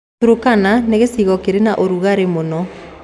Turkana nĩ gĩcigo kĩrĩ na rugarĩ mũno